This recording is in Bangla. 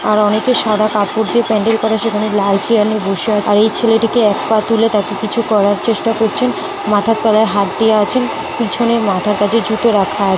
আর অনেকে সাদা কাপড় দিয়ে প্যান্ডেল করে। সেখানে লাল চেয়ার নিয়ে বসে । তার এই ছেলেটিকে এক পা তুলে তাকে কিছু করার চেষ্টা করছেন। মাথার তলায় হাত দিয়ে আছেন। পিছনের মাথার কাছে জুতো রাখা আ --